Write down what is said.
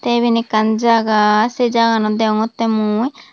tey eben ekkan jaga sey jaganot deongottey mui.